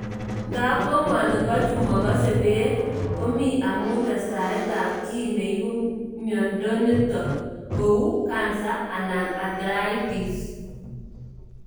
Ngapko ngwoningo chu makase pek komi amu testaet ap kii ne ipu miondonitok, ku cancer anan arthritis.